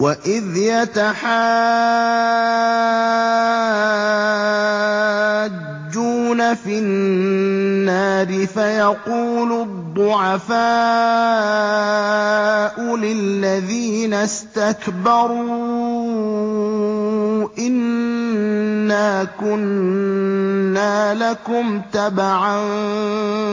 وَإِذْ يَتَحَاجُّونَ فِي النَّارِ فَيَقُولُ الضُّعَفَاءُ لِلَّذِينَ اسْتَكْبَرُوا إِنَّا كُنَّا لَكُمْ تَبَعًا